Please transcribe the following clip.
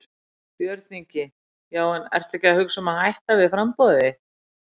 Björn Ingi: Já en ertu að hugsa um að hætta við framboðið þitt?